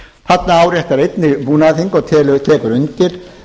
þarna áréttar einnig búnaðarþing og tekur undir